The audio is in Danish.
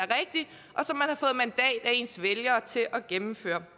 ens vælgere til at gennemføre